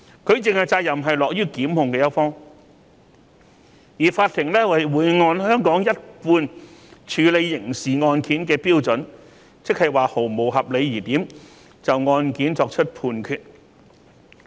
舉證的責任落於檢控一方，而法庭會按香港一貫處理刑事案件的標準，即毫無合理疑點，就案件作出判決。